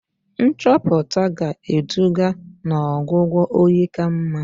Nchọpụta ga-eduga n'ọgwụgwọ oyi ka mma.